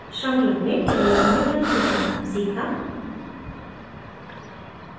श्रृंखला में पहले हमने branches बनाना सीखा